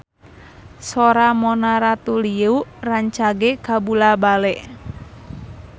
Sora Mona Ratuliu rancage kabula-bale